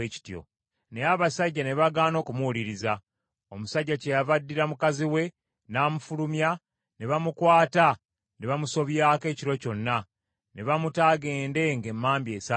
Naye abasajja ne bagaana okumuwuliriza. Omusajja kyeyava addira mukazi we, n’amufulumya, ne bamukwata ne bamusobyako ekiro kyonna, ne bamuta agende ng’emmambya esala.